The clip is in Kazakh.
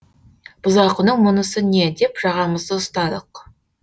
бұзақының мұнысы не деп жағамызды ұстадық